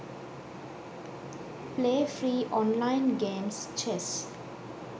play free online games chess